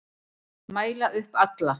Mæla upp alla